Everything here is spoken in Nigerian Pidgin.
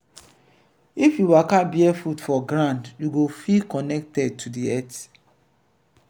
if you waka barefoot for ground you go feel connected to di earth.